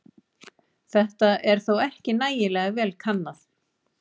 Þetta er þó ekki nægilega vel kannað.